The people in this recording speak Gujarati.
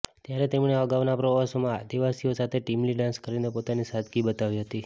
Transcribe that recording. ત્યારે તેમણે અગાઉના પ્રવાસોમાં આદિવાસીઓ સાથે ટીમલી ડાન્સ કરીને પોતાની સાદગી બતાવી હતી